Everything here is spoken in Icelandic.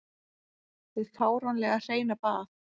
Hið fáránlega hreina bað.